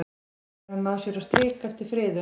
Hefur hann náð sér á strik eftir friðun?